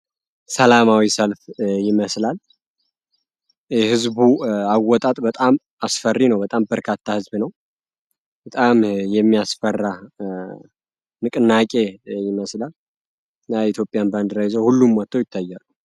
ሰላማዊ ሰልፍ ይመስላል ህዝቡ አወጣጥ በጣም አስፈሪ ነው በጣም በርካታ ህዝብ ነው በጣም የሚያስፈራ ንቅናቄ ይመስላል ኢትዮጵያ ባንድራ ይታያ፡፡